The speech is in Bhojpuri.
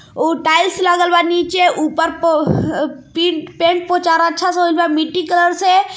ऊ टाइल्स लगल बा नीचे ऊपर प- पी-पेंट पोचार अच्छा से होयिल बा मिट्टी कलर से.